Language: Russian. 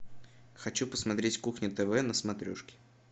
хочу посмотреть кухня тв на смотрешке